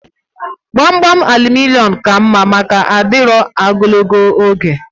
Gbamgbam aluminịọm ka mma maka adịru ogologo oge